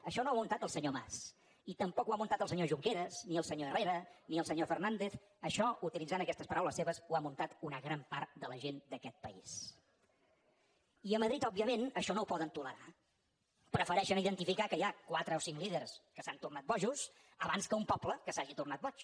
això no ho ha muntat el senyor mas ni tampoc ho ha muntat el senyor junqueras ni el senyor herrera ni el senyor fernàndez això utilitzant aquestes paraules seves ho ha muntat una gran part de la gent d’aquest país i a madrid òbviament això no ho poden tolerar prefereixen identificar que hi ha quatre o cinc líders que s’han tornat bojos abans que un poble que s’hagi tornat boig